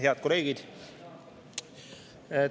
Head kolleegid!